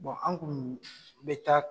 an kun be taa